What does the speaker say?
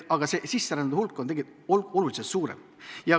Sisserändajate hulk on tegelikult oluliselt suurem.